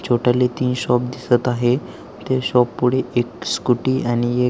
छोटाले तीन शॉप दिसत आहे ते शॉप पुढे एक स्कूटी आणि ए--